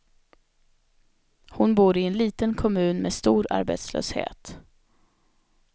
Hon bor i en liten kommun med stor arbetslöshet.